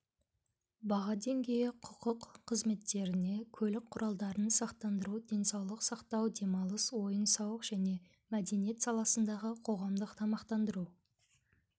баға деңгейі құқық қызметтеріне көлік құралдарын сақтандыру денсаулық сақтау демалыс ойын-сауық және мәдениет саласындағы қоғамдық тамақтандыру